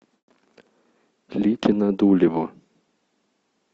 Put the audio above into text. ликино дулево